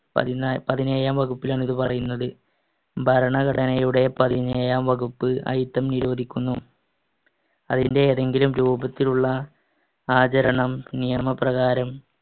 പതിനാ~ പതിനേഴാം വകുപ്പിലാണ് ഇത് പറയുന്നത്. ഭരണഘടനയുടെ പതിനേഴാം വകുപ്പ് അയിത്തം നിരോധിക്കുന്നു. അതിന്‍റെ ഏതെങ്കിലും രൂപത്തിലുള്ള ആചരണം നിയമപ്രകാരം